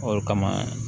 O kama